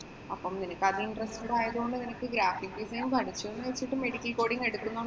അപ്പം അത് നിനക്ക് interested ആയതു കൊണ്ട് നിനക്ക് graphic design പഠിച്ചുവെന്ന് വച്ചിട്ട് medical coding എടുക്കുന്നോണ്ട്